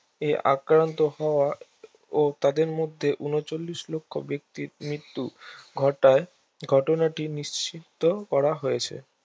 এ আক্রান্ত হওয়া এবং তাদের মধ্যে উনচল্লিশ লক্ষ্য মানুষের মৃত্যু ঘটায় ঘটনাটি নিশ্চিন্ত করা হয়েছে